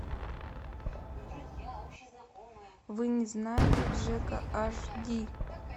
вы не знаете джека аш ди